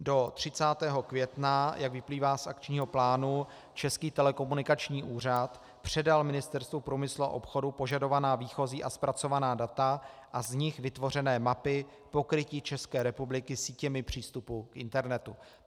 Do 30. května, jak vyplývá z akčního plánu, Český telekomunikační úřad předal Ministerstvu průmyslu a obchodu požadovaná výchozí a zpracovaná data a z nich vytvořené mapy pokrytí České republiky sítěmi přístupu k internetu.